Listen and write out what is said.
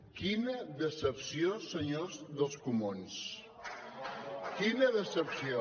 quina decepció senyors dels comuns quina decepció